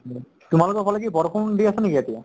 তোমালোকৰ ফালে কি বৰষুণ দি আছে নেকি এতিয়া?